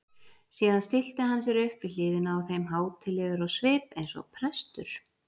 Síðan stillti hann sér upp við hliðina á þeim hátíðlegur á svip eins og prestur.